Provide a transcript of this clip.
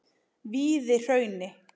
Víðihrauni